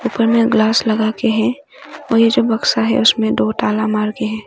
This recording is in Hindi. ऊपर में ग्लास लगा के है और ये जो बक्सा है उसमें दो ताला मारके हैं।